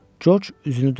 Corc üzünü döndərdi.